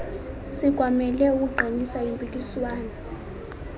sikwamele ukuqinisa impikiswano